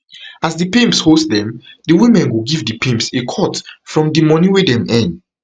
as di pimps host dem di women go give di pimps a cut from di money wey dem earn